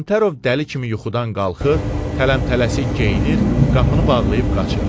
Kəmtərov dəli kimi yuxudan qalxır, tələmtələsik geyinir, qapını bağlayıb qaçır.